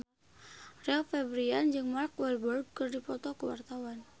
Rio Febrian jeung Mark Walberg keur dipoto ku wartawan